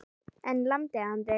En lamdi hann þig?